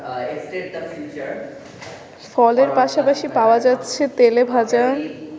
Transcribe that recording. ফলের পাশাপাশি পাওয়া যাচ্ছে তেলে ভাজা